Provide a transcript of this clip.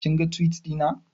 Kin ga Tiwit ɗina